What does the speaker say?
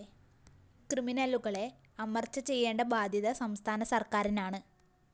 ക്രിമിനലുകളഎ അമര്‍ച്ച ചെയേണ്ട ബാധ്യത സംസ്ഥാന സര്‍ക്കാരിനാണ്